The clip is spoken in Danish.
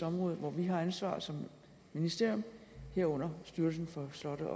område hvor vi har ansvaret som ministerium herunder styrelsen for slotte